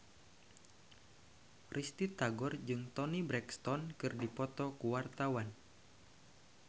Risty Tagor jeung Toni Brexton keur dipoto ku wartawan